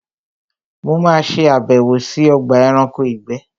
Mo ma ṣe àbẹ̀wò sí Ogba eranko ìgbé